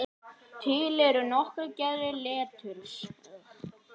Til eru nokkrar gerðir leturs